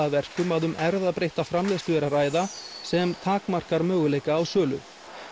að verkum að um erfðabreytta framleiðslu er að ræða sem takmarkar möguleika á sölu